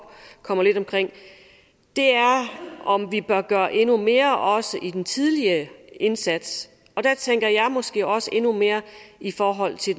kommer lidt omkring er om vi bør gøre endnu mere også i den tidlige indsats der tænker jeg måske også endnu mere i forhold til